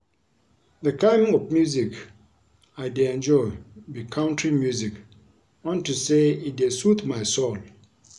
The kin of music I dey enjoy be country music unto say e dey soothe my soul